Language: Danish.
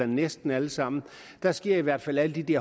næsten alle sammen der sker i hvert fald alle de